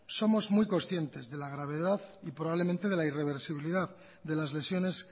somos muy conscientes de la gravedad y probablemente de la irreversibilidad de las lesiones